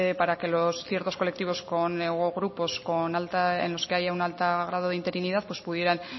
para que ciertos colectivos o grupos en los que haya un alto grado de interinidad pudieran